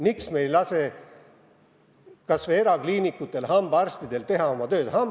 Miks me ei lase kas või erakliinikutelgi, hambaarstidel teha oma tööd?